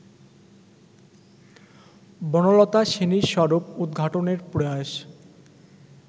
বনলতা সেনের স্বরূপ উদ্ঘাটনের প্রয়াস